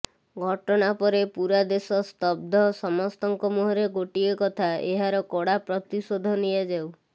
ଘଟଣାପରେ ପୁରା ଦେଶ ସ୍ତବ୍ଧ ସମସ୍ତଙ୍କ ମୁହଁରେ ଗୋଟିଏ କଥା ଏହାର କଡ଼ା ପ୍ରତିଶୋଧ ନିଆଯାଉ